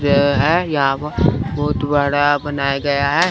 यह बहोत बड़ा बनाया गया है।